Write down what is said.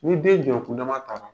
Ni bɛɛ jɔkundama ta la